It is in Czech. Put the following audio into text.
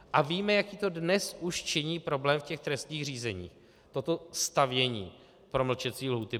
A víme, jaký to dnes už činí problém v těch trestních řízeních, toto stavění promlčecí lhůty.